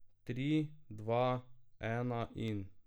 Tri, dva, ena in ...